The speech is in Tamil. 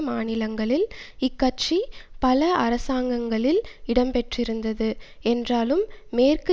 மாநிலங்களில் இக்கட்சி பல அரசாங்கங்களில் இடம் பெற்றிருந்தது என்றாலும் மேற்கு